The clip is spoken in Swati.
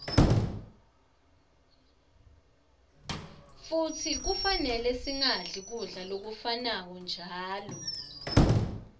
futsi kufanele singadli kudla lokufanako njalo